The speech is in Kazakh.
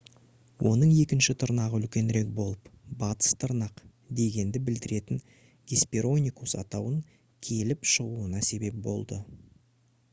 оның екінші тырнағы үлкенірек болып «батыс тырнақ» дегенді білдіретін hesperonychus атауын келіп шығуына себеп болды